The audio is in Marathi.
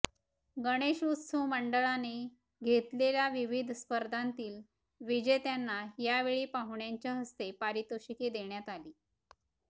गणेशोत्सव मंडळाने घेतलेल्या विविध स्पर्धांतील विजेत्यांना यावेळी पाहुण्यांच्या हस्ते पारितोषिके देण्यात आली